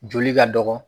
Joli ka dɔgɔ